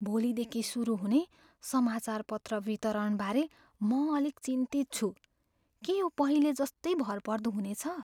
भोलिदेखि सुरु हुने समाचारपत्र वितरणबारे म अलिक चिन्तित छु। के यो पहिले जस्तै भरपर्दो हुनेछ?